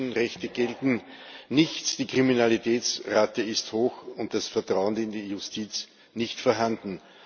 Die Menschenrechte gelten nichts, die Kriminalitätsrate ist hoch, und das Vertrauen in die Justiz nicht vorhanden.